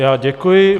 Já děkuji.